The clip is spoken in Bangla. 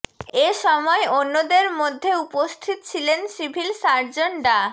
এ সময় অন্যদের মধ্যে উপস্থিত ছিলেন সিভিল সার্জন ডা